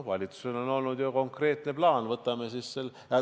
Valitsusel on olnud konkreetne plaan.